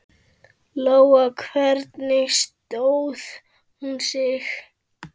Lóa: Hvernig stóð hún sig?